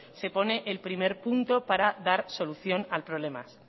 se pone el primer punto para dar solución al problema